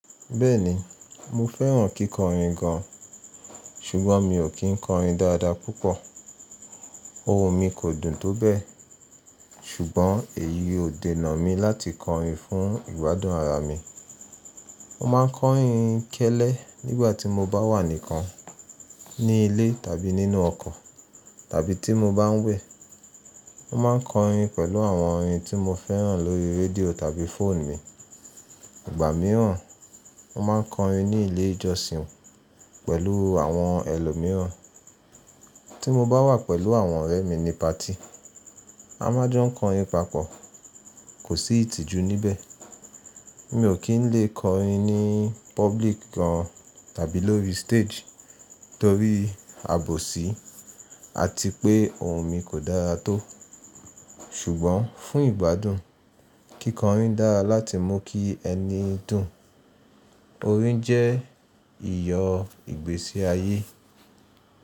Bẹ́ẹ̀ni, mo fẹ́ràn kíkọrin gan ṣùgbọ́n mi ò kí ń kọrin dádápúpọ̀. Ohùn mi kò dùn tó bẹ́ẹ̀, ṣùgbọ́n èyí ò dènà mi láti kọrin fún ìgbádùn ara mi. Mo máa ń kọrin kẹ́lẹ́ nígbà tí mo bá wà nìkan ní ilé tàbí nínú ọkọ̀ tàbí tí mo bá ń wẹ̀. Mo máa ń kọrin pẹ̀lú àwọn orin tí mo fẹ́ràn lórí rédíò tàbí fóònù mi. Ìgbà mìíràn, mo máa ń kọrin ní ilé ìjọsìn pẹ̀lú àwọn ẹlòmíràn. Tí mo bá wà pẹ̀lú àwọn ọ̀rẹ́ mi ní party, a máa jọ kọrin papọ̀, kò sí ìtìjú níbẹ̀. Mi ò kí ń le kọrin ní public gan tàbí lórí stage torí àbòsí àti pé ohùn mi kò dára tó. Ṣùgbọ́n fún ìgbádùn, kíkọrin dára láti mú kí ẹni dùn. Orin jẹ́ ìyọ̀ ìgbésí ayé.